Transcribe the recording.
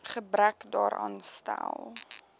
gebrek daaraan stel